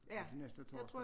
Den næste torsdag